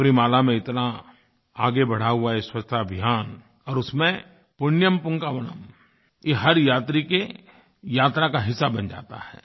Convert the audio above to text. सबरीमाला में इतना आगे बढ़ा हुआ ये स्वच्छता अभियान और उसमें पुण्यम पुन्कवाणम पुण्यम पूंकवनम ये हर यात्री के यात्रा का हिस्सा बन जाता है